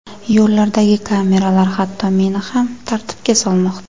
Yo‘llardagi kameralar hatto meni ham tartibga solmoqda.